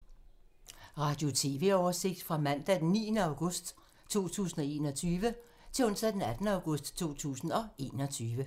Radio/TV oversigt fra mandag d. 9. august 2021 til onsdag d. 18. august 2021